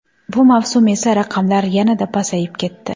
Bu mavsum esa raqamlar yanada pasayib ketdi.